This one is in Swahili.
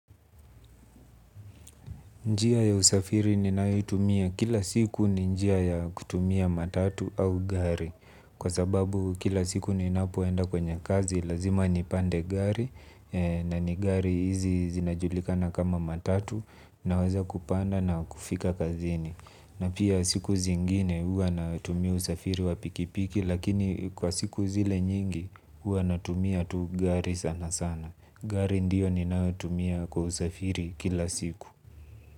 Njia ya usafiri ninayoitumia kila siku ni njia ya kutumia matatu au gari kwa sababu kila siku ninapoenda kwenye kazi lazima nipande gari. Na ni gari hizi zinajulikana kama matatu naweza kupanda na kufika kazini. Na pia siku zingine huwa natumia usafiri wa pikipiki lakini kwa siku zile nyingi huwa natumia tu gari sana sana. Gari ndio ninayotumia kwa usafiri kila siku.